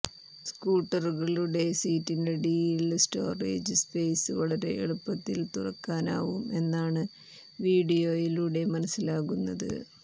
സ്കൂട്ടറുകളുടെ സീറ്റിനടിയിലെ storage space വളരെ എളുപ്പത്തിൽ തുറക്കാനാവും എന്നാണ് വിഡിയോയിലൂടെ മനസിലാകുന്നത്